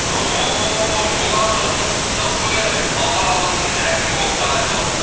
ооо жолан ағамызды құттықтап қояйық талғар ауданының әкімі болып тағайындалыпты